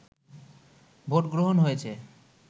ভোটগ্রহণ হয়েছে